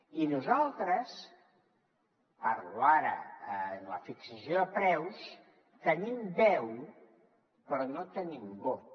i nosaltres parlo ara en la fixació de preus tenim veu però no tenim vot